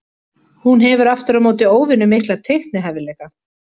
Hún hefur aftur á móti óvenju mikla teiknihæfileika.